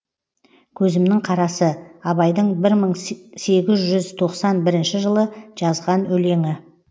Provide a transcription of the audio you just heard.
көзімнің қарасы абайдың бір мың сегіз жүз тоқсан бірінші жылы жазған өлеңі